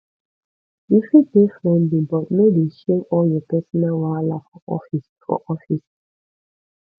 you fit dey friendly but no dey share all your personal wahala for office for office